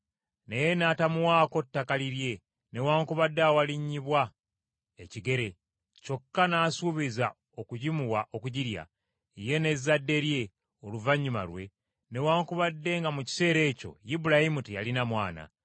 Naye n’atamuwaako ttaka lirye newaakubadde awalinnyibwa ekigere. Kyokka n’asuubiza okugimuwa okugirya, ye n’ezzadde lye oluvannyuma lwe, newaakubadde nga mu kiseera ekyo lbulayimu teyalina mwana!